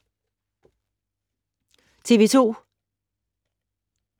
TV 2